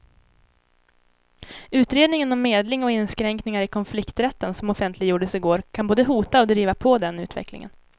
Utredningen om medling och inskränkningar i konflikträtten som offentliggjordes i går kan både hota och driva på den utvecklingen.